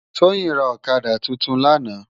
Toyin rá òkadá tútún làná